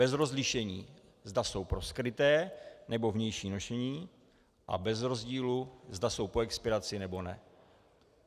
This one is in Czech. Bez rozlišení, zda jsou pro skryté, nebo vnější nošení, a bez rozdílu, zda jsou po expiraci, nebo ne.